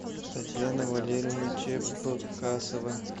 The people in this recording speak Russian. татьяна валерьевна чепкасова